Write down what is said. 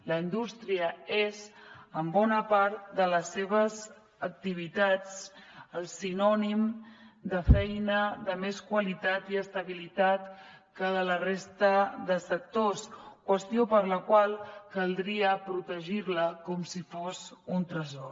la indústria és en bona part de les seves activitats el sinònim de feina de més qualitat i estabilitat que la resta de sectors qüestió per la qual caldria protegir la com si fos un tresor